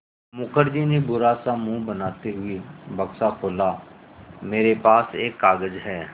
मुखर्जी ने बुरा सा मुँह बनाते हुए बक्सा खोला मेरे पास एक कागज़ है